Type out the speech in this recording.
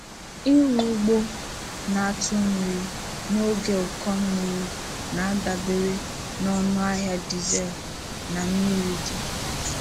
Ịrụ ugbo na-atụ mmiri n’oge ụkọ mmiri na-adabere na ọnụ ahịa dizel na mmiri dị.